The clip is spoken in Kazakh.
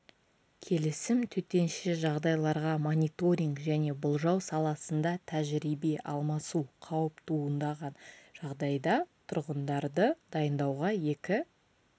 келісім төтенше жағдайларға мониторинг және болжау жасау саласында тәжірибе алмасу қауіп туындаған жағдайда тұрғындарды дайындауға екі